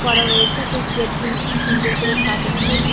করা রয়েছে। সেই গেট গুলি খুব সুন্দর করে সাজানো। প্রদীপ --